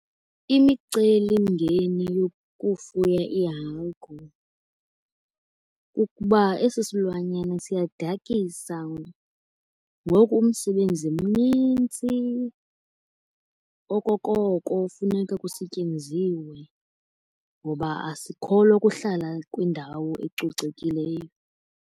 Imicelimngeni yokufuya iihagu kukuba esi silwanyana siyadkisa. Ngoku umsebenzi mnintsi okokoko funeka kusetyenziwe ngoba asikholwa kuhlala kwindawo ecocekileyo.